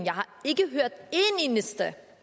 eneste